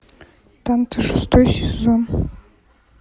танцы шестой сезон